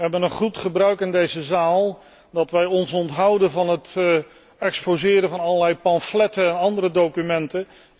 We hebben een goed gebruik in deze zaal dat wij ons onthouden van het exposeren van allerlei pamfletten en andere documenten.